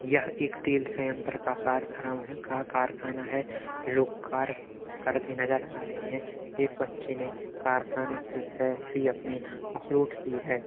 यह एक तेल सयंत्र का कारखराम है का कारखाना है। लोग कार करते नजर आ रहे हैं। एक बच्चे ने कारखाने पे सेल्फी अपनी अपलोड की है।